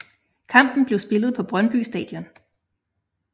Kampen blev spillet på Brøndby Stadion